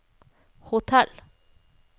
hotell